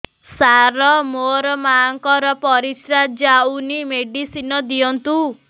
ସାର ମୋର ମାଆଙ୍କର ପରିସ୍ରା ଯାଉନି ମେଡିସିନ ଦିଅନ୍ତୁ